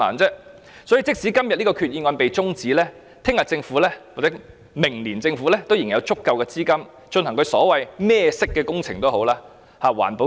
因此，即使今天這項決議案的辯論中止待續，明天或明年政府仍有足夠資金進行所謂"甚麼顏色"的工程。